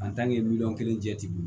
miliyɔn kelen jɛ ten